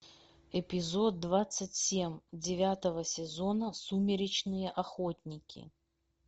эпизод двадцать семь девятого сезона сумеречные охотники